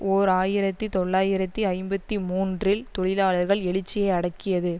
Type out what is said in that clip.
ஓர் ஆயிரத்தி தொள்ளாயிரத்தி ஐம்பத்தி மூன்றில் தொழிலாளர்கள் எழுச்சியை அடக்கியது